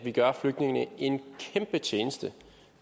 at vi gør flygtningene en kæmpe tjeneste